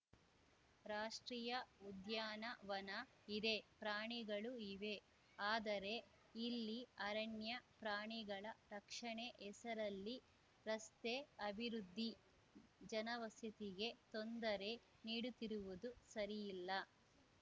ರಾಷ್ಟ್ರೀಯ ಉದ್ಯಾನವನ ಇದೆ ಪ್ರಾಣಿಗಳು ಇವೆ ಆದರೆ ಇಲ್ಲಿ ಅರಣ್ಯ ಪ್ರಾಣಿಗಳ ರಕ್ಷಣೆ ಹೆಸರಲ್ಲಿ ರಸ್ತೆ ಅಭಿವೃದ್ಧಿ ಜನವಸತಿಗೆ ತೊಂದರೆ ನೀಡುತ್ತಿರುವುದು ಸರಿ ಇಲ್ಲ